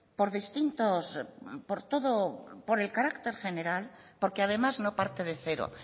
por distintos por todo por el carácter general porque además no parte de cero